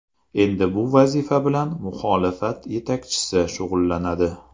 Endi bu vazifa bilan muxolifat yetakchisi shug‘ullanadi.